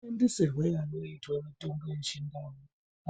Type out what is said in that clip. Mashandisirwe anoitwa mitombo yeChiNdau